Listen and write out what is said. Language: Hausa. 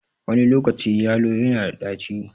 Wani lokaci yalo na da ɗaci.